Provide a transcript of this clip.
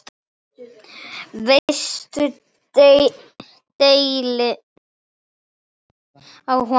Veistu deili á honum?